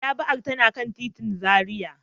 Madaba'ar tana kan titin Zaria.